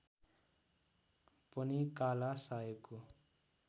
पनि काला साहेबको